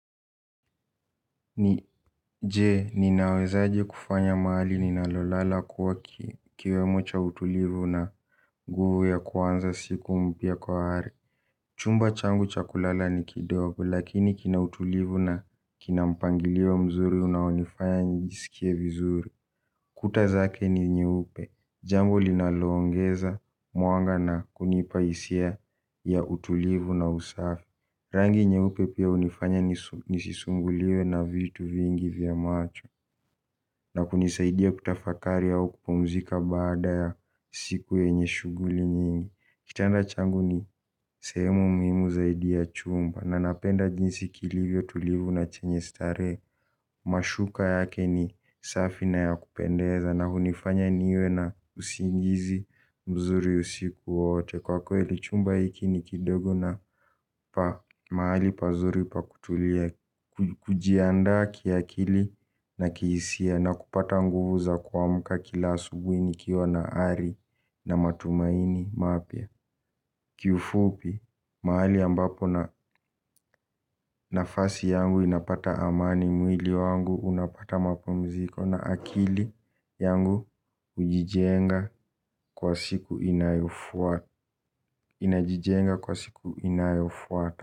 Je, ninawezaje kufanya mahali ninalolala kuwa kiwemo cha utulivu na nguvu ya kuanza siku mpya kwa ari. Chumba changu cha kulala ni kidogo, lakini kina utulivu na kina mpangilio mzuri unaonifanya nijisikie vizuri. Kuta zake ni nyeupe, jambo linaloongeza mwanga nakunipa hisia ya utulivu na usafi. Rangi nyeupe pia hunifanya nisisumbuliwe na vitu vingi vya macho. Na kunisaidia kutafakari au kupumzika baada ya siku yenye shughuli nyingi. Kitanda changu ni sehemu muhimu zaidi ya chumba. Na napenda jinsi kilivyo tulivu na chenye starehe. Mashuka yake ni safi na ya kupendeza. Na hunifanya niwe na usingizi mzuri usiku wote. Kwa kweli chumba hiki ni kidogo na mahali pazuri pa kutulia. Kujiandaa kiakili na kihisia na kupata nguvu za kuamka kila asubuhi nikiwa na ari na matumaini mapya. Kiufupi mahali ambapo na nafasi yangu inapata amani mwili wangu unapata mapumziko na akili yangu hujijenga kwa siku inayofuata. Inajijenga kwa siku inayofuata.